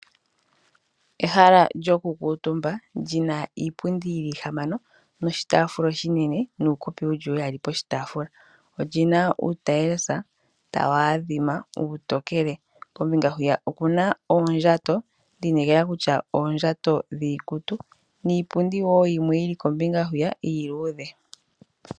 Ehala lyokukuutumba lina iipundi ihamano noshitafula oshinene nuukopi uli uyali poshitaafula , olina uutielesa tawu adhima uutokele, kombinga hwiya okuna oondjato, ndi inekela kutya oondjato dhiikutu niipundi wo yimwe yili kombinga hwiya iiluudhe.